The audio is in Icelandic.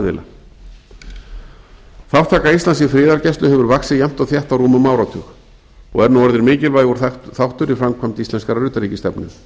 aðila þátttaka íslands í friðargæslu hefur vaxið jafnt og þétt á rúmum áratug og er nú orðin mikilvægur þáttur í framkvæmd íslenskrar utanríkisstefnu